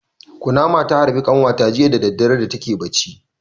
Kunama ta harbe ƙanwata jiya da dare da take barci.